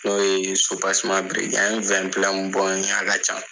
N'o ye biri ye an ye bɔ a ka can.